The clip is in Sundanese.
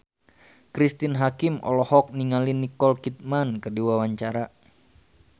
Cristine Hakim olohok ningali Nicole Kidman keur diwawancara